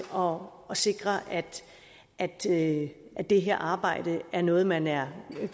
om at sikre at at det her arbejde er noget man er